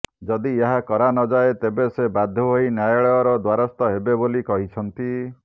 ଯଦି ଏହା କରା ନଯାଏ ତେବେ ସେ ବାଧ୍ୟ ହୋଇ ନ୍ୟାୟାଳୟର ଦ୍ବାରସ୍ଥ ହେବେ ବୋଲି କହିଛନ୍ତି